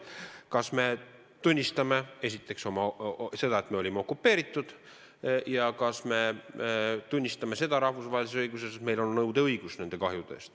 Esiteks, kas me tunnistame seda, et olime okupeeritud, ja teiseks, kas me tunnistame rahvusvahelises õiguses seda, et meil on nõudeõigus nende kahjude suhtes.